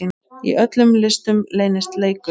Í öllum listum leynist leikur.